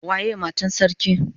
Waye Matan sarki?